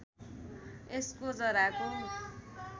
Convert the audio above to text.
यसको जराको